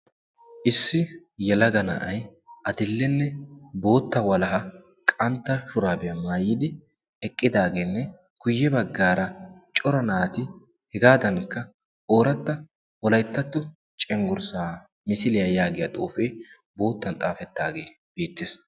issi yalaga na'ay adillenne bootta walaha qantta shuraabiyaa maayidi eqqidaageenne kuyye baggaara cora naati hegaadankka ooratta wolayttattu cenggurssaa misiliyaa yaagiya xoufee boottan xaafettaagee beettees